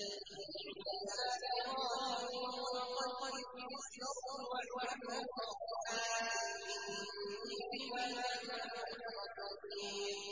أَنِ اعْمَلْ سَابِغَاتٍ وَقَدِّرْ فِي السَّرْدِ ۖ وَاعْمَلُوا صَالِحًا ۖ إِنِّي بِمَا تَعْمَلُونَ بَصِيرٌ